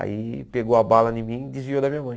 Aí pegou a bala em mim e desviou da minha mãe.